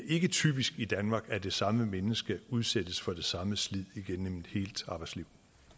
ikke er typisk i danmark at det samme menneske udsættes for det samme slid igennem et helt arbejdsliv